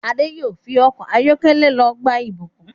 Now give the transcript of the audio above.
Ade yóò fí Ọkọ̀ ayọ́kẹ́lẹ́ ló gbé Ibukun.